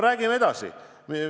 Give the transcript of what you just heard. Räägime edasi.